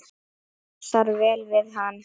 Passar vel við hann.